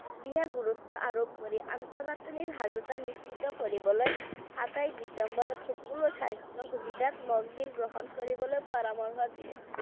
বিশেষ গুৰুত্ব আৰোপ কৰি আন্তঃগাঁথনি সাজোতা নিশ্চিত কৰিবলৈ সাতাইশ ডিচেম্বৰত সকলো স্বাস্থ্য সুবিধাত গ্ৰহণ কৰিবলৈ পৰামৰ্শ দিয়ে।